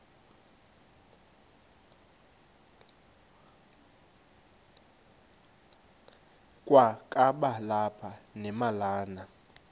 kwakaba lapha nemalana